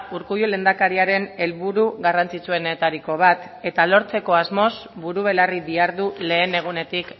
urkullu lehendakariaren helburu garrantzitsuenetariko bat eta lortzeko asmoz buru belarri dihardu lehen egunetik